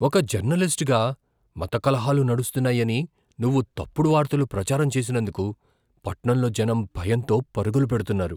ఒక జర్నలిస్ట్గా మతకలహాలు నడుస్తున్నాయని నువ్వు తప్పుడు వార్తలు ప్రచారం చేసినందుకు, పట్నంలో జనం భయంతో పరుగులు పెడుతున్నారు.